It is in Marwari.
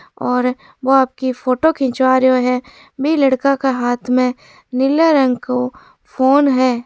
और वो आपकी फोटो खिचवा रहयो है बी लड़का के हाथ में नीले रंग को फोन हैं।